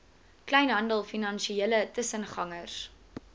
kleinhandel finansiële tussengangers